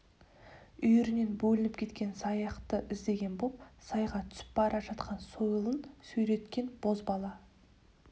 үйірінен бөлініп кеткен саяқты іздеген боп сайға түсіп бара жатқан сойылын сүйреткен бозбала